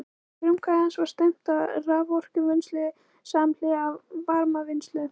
Að frumkvæði hans var stefnt að raforkuvinnslu samhliða varmavinnslu.